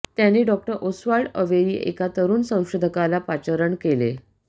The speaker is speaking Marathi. त्यानी डॉ ओस्वाल्ड अवेरी ह्या एका तरुण संशोधकाला पाचारण केले